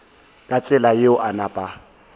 ka tsela yeo a napa